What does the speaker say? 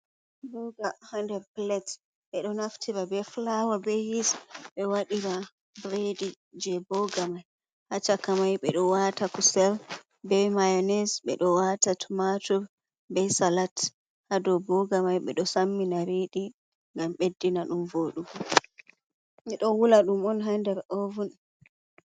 Boga ha nder pilet, ɓeɗo naftira be fulawa be yis. be waɗira buredi je boga mai, ha cakamai ɓeɗo wata kusel be mayones, ɓeɗo wata tumatur be salat hadow boga mai, ɓeɗo sammina riɗi ngam ɓeddina ɗum voɗugo, ɓeɗo wula ɗum on ha nder ovun.